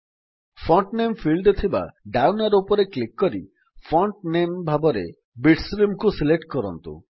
font name ଫିଲ୍ଡରେ ଥିବା down arrow ଉପରେ କ୍ଲିକ୍ କରି ଫଣ୍ଟ ନାମ ଭାବରେ Bitsreamକୁ ସିଲେକ୍ଟ କରନ୍ତୁ